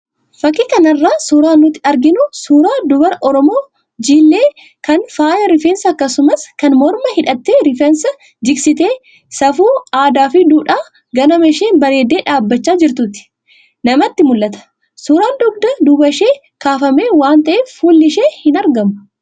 Fakii kanarraa suuraan nutti argamu suuraa dubara Oromoo Jiillee, kan faaya rifeensaa akkasumas kan mormaa hidhattee rifeensa jigsitee, safuu, aadaa fi duudhaa ganamaa isheen bareeddee dhaabachaa jirtuutu namatti mul'ata. Suuraa dugda duuba ishee kaafame waan ta'eef fuulli ishee hin argamu.